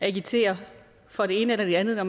agiteret for det ene eller det andet når